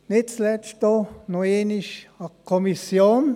Nicht zuletzt auch noch einmal einen Dank an die Kommission.